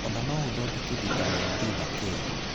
Ona no ũthodeke vitamini D na K.